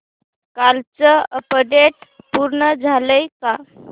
कालचं अपडेट पूर्ण झालंय का